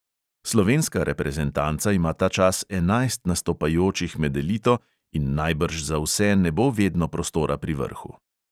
Slovenska reprezentanca ima ta čas enajst nastopajočih med elito in najbrž za vse ne bo vedno prostora pri vrhu.